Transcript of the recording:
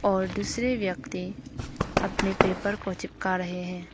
और दूसरे व्यक्ति अपने पेपर को चिपका रहे हैं।